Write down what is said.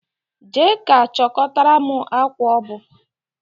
Jee ka chọtara m akwa obu.